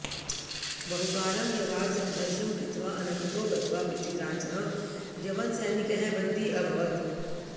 बहुकालं यवात् सङ्घर्षं कृत्वा अन्ततो गत्वा पृथ्वीराजः यवनसैनिकैः बन्दी अभवत्